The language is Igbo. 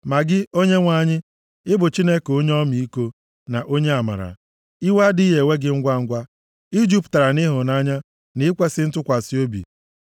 Ma gị, Onyenwe anyị, ị bụ Chineke onye ọmịiko na onye amara, iwe adịghị ewe gị ngwangwa, i jupụtara nʼịhụnanya na ikwesi ntụkwasị obi.